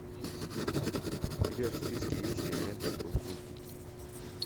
у тебя в списке есть кинолента кукутики